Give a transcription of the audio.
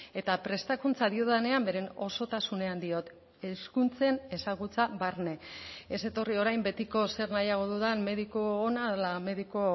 eta prestakuntza diodanean beren osotasunean diot hezkuntzen ezagutza barne ez etorri orain betiko zer nahiago dudan mediku ona ala mediku